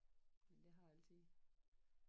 Men det har altid